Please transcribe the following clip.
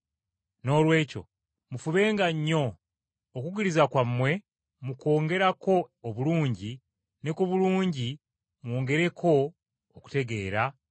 Noolwekyo mufubenga nnyo, okukkiriza kwammwe mukwongereko obulungi, ne ku bulungi mwongereko okutegeera,